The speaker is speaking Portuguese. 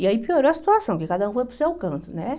E aí piorou a situação, porque cada um foi para o seu canto, né?